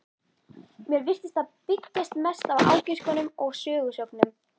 Mér virtist það byggjast mest á ágiskunum og sögusögnum.